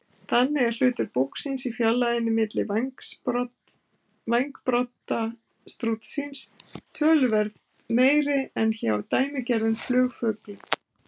Þannig er hlutur búksins í fjarlægðinni milli vængbrodda strútsins töluvert meiri en hjá dæmigerðum flugfuglum.